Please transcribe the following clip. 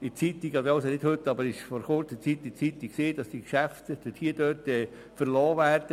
Nicht heute, aber vor Kurzem stand in der Zeitung, dass genau an der Effingerstrasse die Geschäfte verlassen würden.